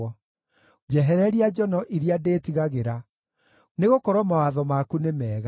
Njehereria njono iria ndĩĩtigagĩra, nĩgũkorwo mawatho maku nĩ mega.